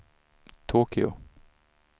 Tokyo